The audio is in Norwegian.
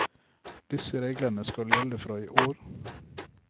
Disse reglene skal gjelde fra i år.